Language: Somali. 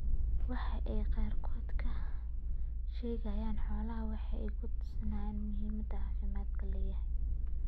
Waxa ay qaarkood ka sheegaan xoolahooda waxa ay ku tusaysaa muhiimadda caafimaadku leeyahay.